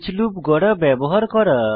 each loop গড়া ব্যবহার করা